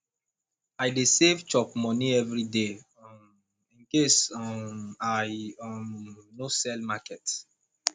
i dey save chop moni everyday um incase um i um no sell market